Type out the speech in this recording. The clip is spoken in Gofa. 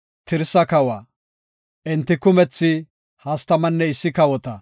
Tirsa kawa. Enti kumethi hastamanne issi kawota.